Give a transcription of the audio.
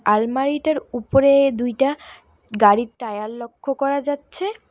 আলমারি টার উপরে দুইটা গাড়ির টায়ার লক্ষ করা যাচ্ছে।